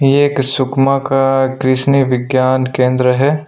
ये एक सुकमा का कृषनि विज्ञान केंद्र है।